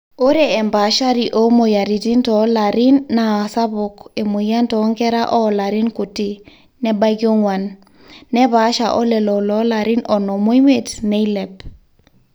ore empaashari oomweyiaritin toolarin naa sapuk emweyian toonkera oolarin kuti nebaiki oong'wan neepaasha olelo loolarin onom oimiet neilep